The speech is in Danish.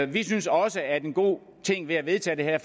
vi synes også at en god ting ved at vedtage det her